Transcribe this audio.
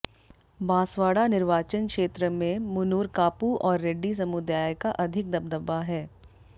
बांसवाड़ा निर्वाचन क्षेत्र में मुनूरकापु और रेड्डी समुदाय का अधिक दबदबा है